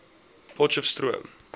potcheftsroom